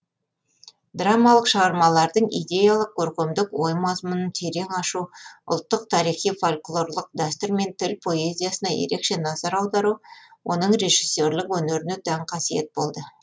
драмалық шығармалардың идеялық көркемдік ой мазмұнын терең ашу ұлттық тарихи фольклорлық дәстүр мен тіл поэзиясына ерекше назар аудару оның режиссерлік өнеріне тән қасиет болды